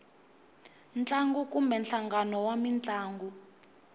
ntlangu kumbe nhlangano wa mintlangu